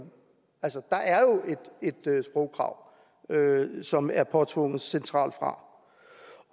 der er jo et sprogkrav som er påtvunget centralt fra